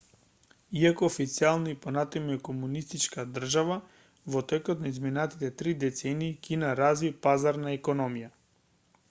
иако официјално и понатаму е комунистичка држава во текот на изминатите три децении кина разви пазарна економија